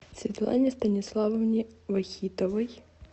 светлане станиславовне вахитовой